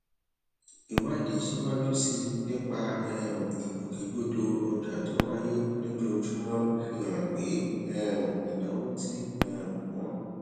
ìwádìí síwájú sí i nípa um ìgbòkègbodò ọjà tó wáyé lójoojúmọ fi hàn pé um ìnáwó tí um wọn